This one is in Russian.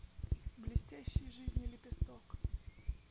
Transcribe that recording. блестящей жизни лепесток